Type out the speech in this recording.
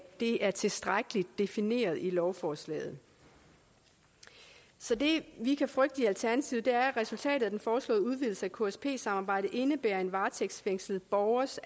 det er tilstrækkeligt defineret i lovforslaget så det vi kan frygte i alternativet er at resultatet af den foreslåede udvidelse af ksp samarbejdet indebærer at en varetægtsfængslet borgers